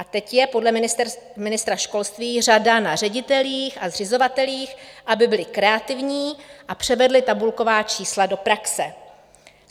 A teď je podle ministra školství řada na ředitelích a zřizovatelích, aby byli kreativní a převedli tabulková čísla do praxe.